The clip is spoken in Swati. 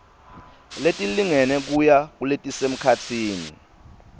letilingene kuya kuletisemkhatsini